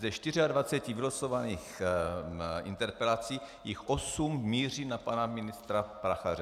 Ze 24 vylosovaných interpelací jich 8 míří na pana ministra Prachaře.